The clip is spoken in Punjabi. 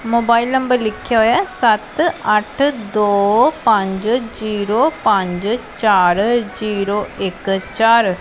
ਮੋਬਾਇਲ ਨੰਬਰ ਲਿੱਖਿਆ ਹੋਇਆ ਸੱਤ ਅੱਠ ਦੋ ਪੰਜ ਜੀਰੋ ਪੰਜ ਚਾਰ ਜੀਰੋ ਇੱਕ ਚਾਰ--